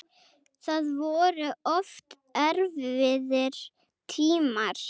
Það voru oft erfiðir tímar.